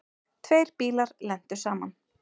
Tveir bílar lentu saman.